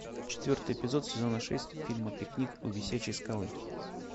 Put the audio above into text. четвертый эпизод сезона шесть фильма пикник у висячей скалы